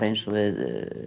eins og við